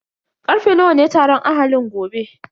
Karfe nawa ne taron ahalin gobe?